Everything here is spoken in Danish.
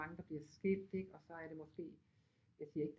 Mange der bliver skilt ikke og så er det måske jeg siger ikke